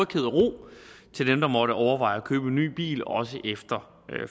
til dem der måtte overveje at købe en ny bil også efter